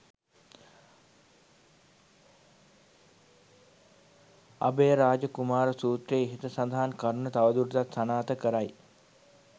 අභයරාජ කුමාර සූත්‍රය ඉහත සඳහන් කරුණ තව දුරටත් සනාථ කරයි.